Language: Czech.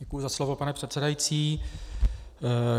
Děkuji za slovo, pane předsedající.